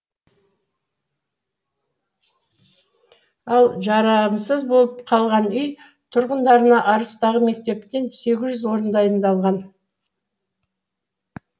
ал жарамсыз болып қалған үй тұрғындарына арыстағы мектептен сегіз жүз орын дайындалған